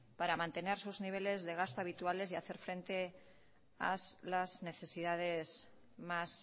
para mantener sus niveles de gasto habituales y hacer frente a las necesidades más